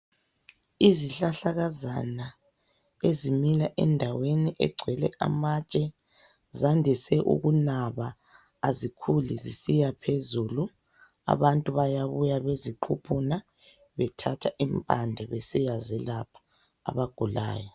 Izihlahlakazana ezimila endaweni egcwele amatshe, zandise ukunaba azikhuli zisiya phezulu. Abantu bayabuya beziquphuna bethatha impande besiyazelapha, abagulayo.